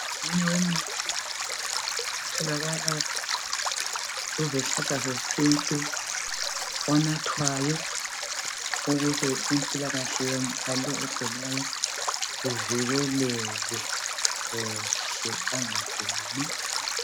Omunye yemithi etholakala kuzihlahla zesintu onathwayo ukuze impilakahle yalo ogulayo ivikeleke kuhle angaguli.